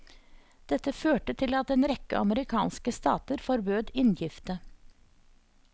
Dette førte til at en rekke amerikanske stater forbød inngifte.